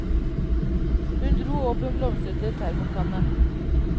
Hun dro opp en blomstrete termokanne.